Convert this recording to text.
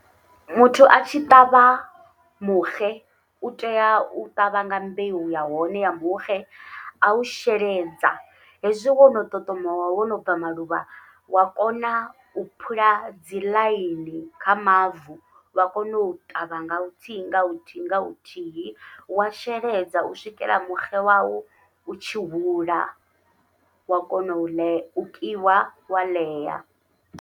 Muthu atshi ṱavha muxe utea u ṱavha nga mbeu ya hone ya muxe, au sheledza hezwi wono ṱoṱomowa wono bva maluvha wa kona u phula dzi ḽaini kha mavu vha kone u ṱavha nga huthihi nga huthihi nga huthihi, wa sheledza u swikela muxe wawu utshi hula wa kona u ḽe u kiwa wa ḽea.